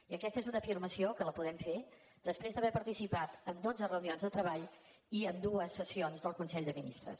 i aquesta és una afirmació que la podem fer després d’haver participat en dotze reunions de treball i en dues sessions del consell de ministres